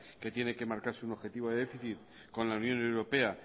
que tiene que marcarse un objetivo de déficit con la unión europea